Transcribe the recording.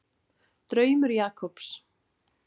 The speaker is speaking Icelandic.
Draumur Jakobs.